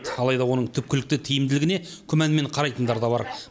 алайда оның түпкілікті тиімділігіне күмәнмен қарайтындар да бар